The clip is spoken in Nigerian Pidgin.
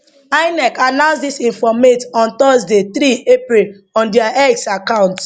inec announce dis informate on thursday 3 april on dia x account